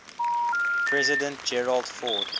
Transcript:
president gerald ford